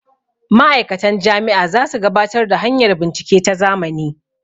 ma'aikatan Jami' a za su gabatar da hanyar bincike ta zamani